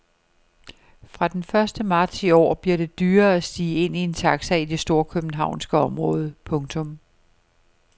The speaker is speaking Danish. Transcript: Fra den første marts i år bliver det dyrere at stige ind i en taxi i det storkøbenhavnske område. punktum